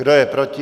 Kdo je proti?